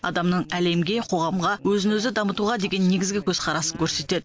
адамның әлемге қоғамға өзін өзі дамытуға деген негізгі көзқарасын көрсетеді